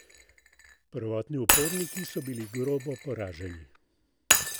Prvotni uporniki so bili grobo poraženi.